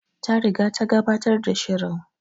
Ta riga ta gabatar da shirin